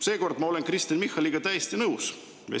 " Seekord ma olen Kristen Michaliga täiesti nõus.